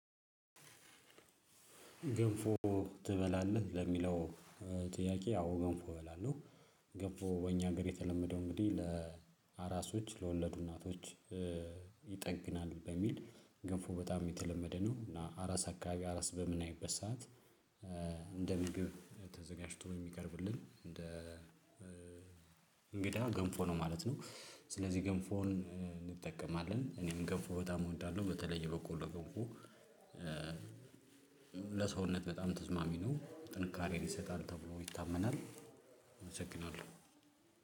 ገንፎ ትበላለህ ለሚለው? ጥያቄ አው ገንፎ እበላለሁ። ገንፎ በእኛ ሀገር የተለመደው እንግዲህ ለአራሶች ለወለዱ እናቶች። ይጠግናል በሚል ገፎ በጣም የተለመደ ነው። እና አራስ አካባቢ አራስ በምይበት ሰዓት። እንደ ምግብ ተዘጋጅቶ የሚቀርብልን እንደ እንግዳ ገንፎ ነው ማለት ነው። ስለዚህ ገንፎን እንጠቀማለን። እኔም ገንፎ በጣም እወዳለሁ በተለየ የበቆሎ ገንፎ። ለሰውነት በጣም ተዝማሚ ነው ጥንካሬ ይሰጣል ተብሎ ይታመናል። አመሰግናለሁ።